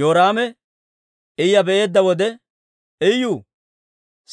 Yoraame Iya be'eedda wode, «Iyu,